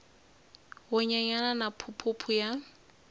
wu nyenyana na phuphu ya